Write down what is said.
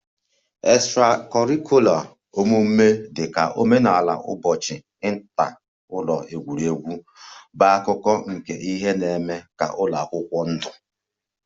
Extra-curricular omume dị ka omenala ụbọchị, inter ụlọ egwuregwu bụ akụkụ nke ihe na-eme ka ụlọ akwụkwọ ndụ